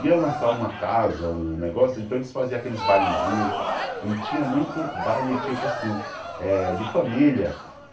ia lançar uma casa, um negócio, então eles faziam aqueles bailezinhos e tinha muito baile, tipo assim eh, de família.